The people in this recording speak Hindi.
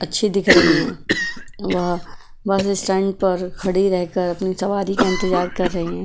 अच्छी दिख रही है वह बस स्टैंड पर खड़ी रहकर अपनी सवारी का इंतजार कर रही हैं।